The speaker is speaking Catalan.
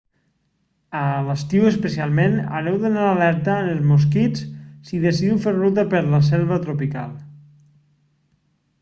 a l'estiu especialment haureu d'anar alerta amb els mosquits si decidiu fer ruta per la selva tropical